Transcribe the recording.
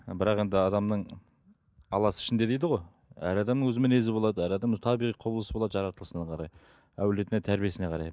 ы бірақ енді адамның аласы ішінде дейді ғой әр адамның өз мінезі болады әр адам табиғи құбылысы болады жаратылысына қарай әулетіне тәрбиесіне қарай